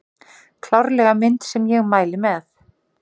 Klárlega mynd sem ég mæli með